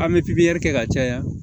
An bɛ pipiɲɛri kɛ ka caya